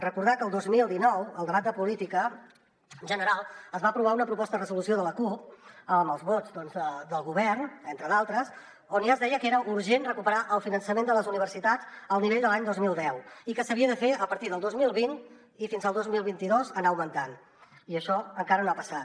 recordar que el dos mil dinou al debat de política general es va aprovar una proposta de resolució de la cup amb els vots del govern entre d’altres on ja es deia que era urgent recuperar el finançament de les universitats al nivell de l’any dos mil deu i que s’havia de fer a partir del dos mil vint i fins al dos mil vint dos anar lo augmentant i això encara no ha passat